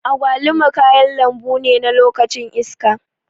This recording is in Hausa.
Agwaluma kayan lambune na lokacin iska.